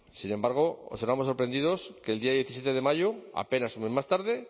sin embargo observamos sorprendidos que el día diecisiete de mayo apenas un mes más tarde